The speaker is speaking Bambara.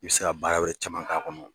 I bɛ se ka baara wɛrɛ caman ka kɔnɔ.